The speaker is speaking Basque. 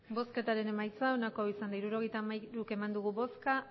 hirurogeita hamairu eman dugu bozka